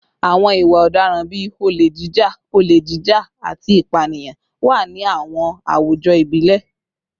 Àwọn ìwà ọ̀daràn bíi olè jíjà, olè jíjà, àti ìpànìyàn wà ní àwọn àwùjọ ìbílẹ̀